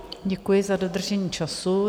Děkuji za dodržení času.